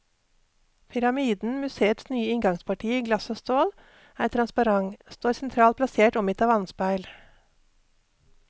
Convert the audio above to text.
Pyramiden, museets nye inngangsparti i glass og stål, er transparent, står sentralt plassert omgitt av vannspeil.